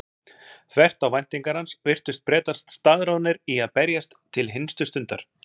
Þvert á væntingar hans virtust Bretar staðráðnir í að berjast til hinstu stundar.